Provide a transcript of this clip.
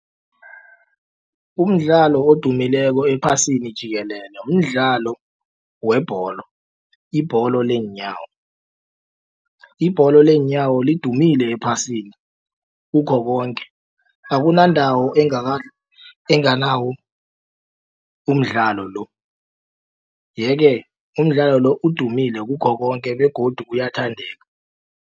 Umdlalo odumileko ephasini jikelele mdlalo webholo ibholo leenyawo. Ibholo leenyawo lidumile ephasini kukho konke akunandawo enganawo umdlalo lo. Yeke umdlalo lo udumile kukho konke begodu uyathandeka.